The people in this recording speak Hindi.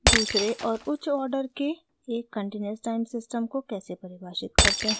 * दूसरे और उच्च आर्डर के एक continuous time system को कैसे परिभाषित करते हैं